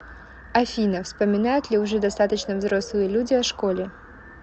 афина вспоминают ли уже достаточно взрослые люди о школе